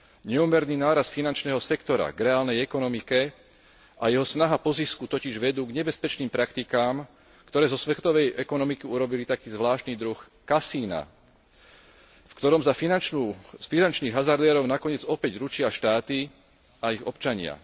Neúmerný nárast finančného sektora k reálnej ekonomike a jeho snaha po zisku totiž vedú k nebezpečným praktikám, ktoré zo svetovej ekonomiky urobili taký zvláštny druh kasína, v ktorom za finančných hazardérov nakoniec opäť ručia štáty a ich občania.